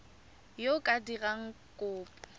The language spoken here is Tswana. yo o ka dirang kopo